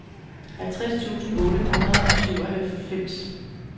halvtreds tusind otte hundrede og syvoghalvfems